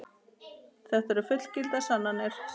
Þetta eru fullgildar sannanir.